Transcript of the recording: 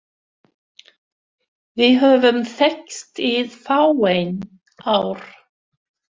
Við höfum þekkst í fáein ár